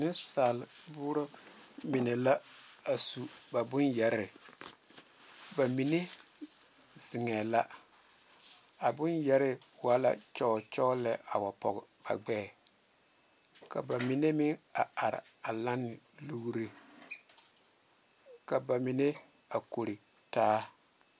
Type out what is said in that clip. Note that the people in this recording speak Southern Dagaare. Neŋ saale boore mine la su kpaare ba mine zeŋe la a bone yɛre wa la nyɔnyɔ la poɔ a gbɛ ka ba mine meŋ are a kore taa.